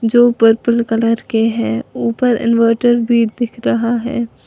जो purple colour के हैं ऊपर इनवर्टर भी दिख रहा है।